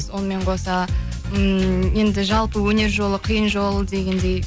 сонымен қоса ім енді жалпы өнер жолы қиын жол дегеңдей